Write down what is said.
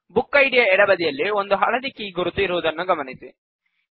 book ID ಯ ಎಡಬದಿಯಲ್ಲಿ ಒಂದು ಹಳದಿ ಕೀ ಗುರುತು ಇರುವುದನ್ನು ಗಮನಿಸಿ